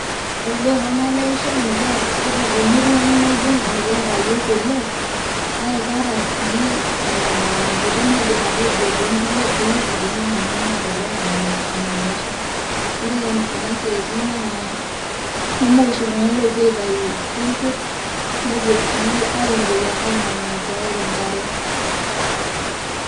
Ore duo pamaleisho mikiata, ore temurua ang' na ijo mikiata yiok o lake, kake kaata si ah nkuti naidim atejo tonkulie towueiting nashomo enaa enaiposha. Ore kuna siaitin naa, keumok oshi iltung'anak lopuo aitayu isinkirr, nepuo sii aitoki ake amanaa tiatua enkare.